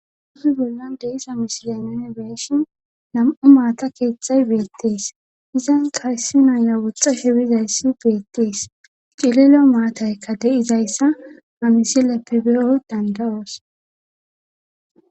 uzi bollan deisa misiya nene beeshin nam7u maata keexxay beettees izan kayssi naya woxxa shebizayssi beettees cililo maataykka de7izayssa hamisileppibe7o dandayoos